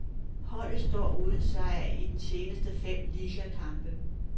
Holdet står uden sejr i de seneste fem ligakampe.